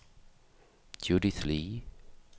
Judith Le